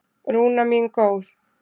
Rúna mín góð.